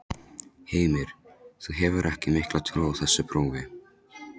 Heimir: Þú hefur ekki mikla trú á þessu prófi?